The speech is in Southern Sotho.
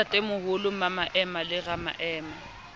le ntatemoholo mmamaema le ramaema